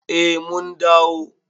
Eh mun dawo.